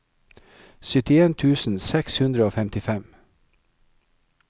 syttien tusen seks hundre og femtifem